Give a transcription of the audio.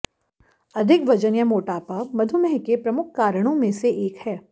अधिक वजन या मोटापा मधुमेह के प्रमुख कारणों में से एक है